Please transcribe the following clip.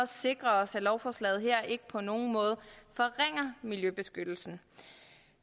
sikre os at lovforslagene her ikke på nogen måde forringer miljøbeskyttelsen